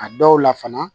A dɔw la fana